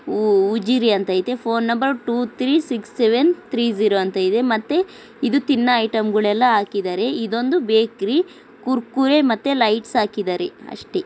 ಊ-ಉಜ್ಜಿರೆ ಅಂತ ಇದೆ. Phone number two three six seven three zero ಅಂತ ಇದೆ. ಮತ್ತೆ ಇದು ತಿನ್ನೋ ಐಟಂ ಗಳೆಲ್ಲಾ ಹಾಕ್ಕಿದ್ದಾರೆ. ಇದೊಂದು ಬೇಕರಿ ಕುರ್ಕುರೆ ಮತ್ತೆ ಲೈಟ್ಸ್ ಹಾಕ್ಕಿದ್ದಾರೆ ಅಷ್ಟೇ.